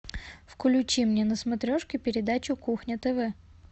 включи мне на смотрешке передачу кухня тв